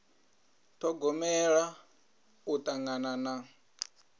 ṱhogomela u tangana na